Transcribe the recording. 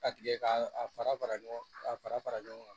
A tigɛ ka a fara fara ɲɔgɔn ka a fara fara ɲɔgɔn kan